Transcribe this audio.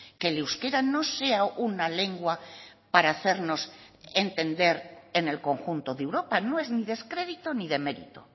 que el euskera no sea una lengua para hacernos entender en el conjunto de europa no es descredito ni demerito